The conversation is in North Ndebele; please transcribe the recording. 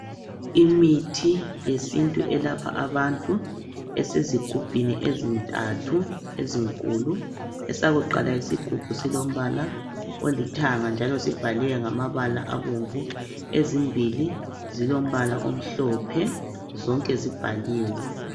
Imithi yesintu elapha abantu esezigubhini ezintathu ezinkulu esakuqala isigubhu silombala olithanga njalo sibhaliwe ngamabala abomvu ezimbili zilombala omhlophe zonke zibhaliwe.